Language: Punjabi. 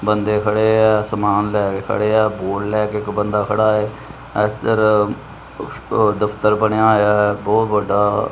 ਬੰਦੇ ਖੜੇ ਆ ਸਮਾਨ ਲੈ ਕੇ ਖੜੇ ਆ ਬੋਰਡ ਲੈ ਕੇ ਇੱਕ ਬੰਦਾ ਖੜਾ ਇਧਰ ਦਫਤਰ ਬਣਿਆ ਹੋਇਆ ਬਹੁਤ ਵੱਡਾ--